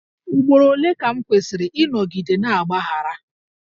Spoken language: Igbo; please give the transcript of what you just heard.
Ugboro ole ka m kwesịrị ịnọgide na-agbaghara?